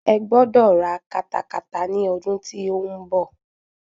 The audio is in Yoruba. Ẹ gbọ́dọ̀ ra katakata ni ọdún tí ó ń bọ̀.